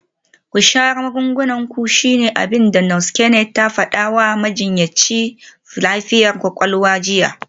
“Ku sha magungunan ku shine abin da Nurse Kennet ta fada wa majinyacin lafiyar kwakwalwa jiya.